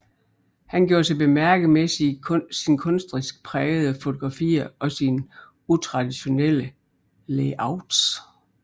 Han gjorde sig bemærket med sine kunstnerisk prægede fotografierog sine utraditionelle layouts